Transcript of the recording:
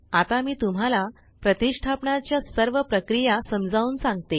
आता मी तुम्हाला प्रतिष्ठापणा च्या सर्व प्रक्रिया समजावून सांगते